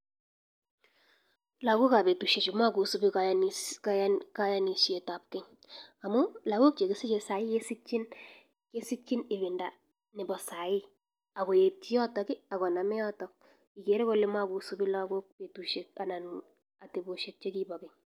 Lagok ab betusiek makosubii kayanishet ab keny amuu lagok chekisiche sai kesichin ibinda nebo sai akoetyi yotok akonamee yotok akere makosubii lagok betusiek anan ateboshek chekipa keny